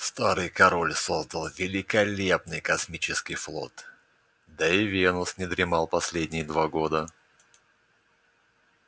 старый король создал великолепный космический флот да и венус не дремал последние два года